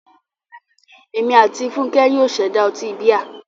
Èmi àti Fúnkẹ́ yóò ṣẹ̀dá ọtí bíà.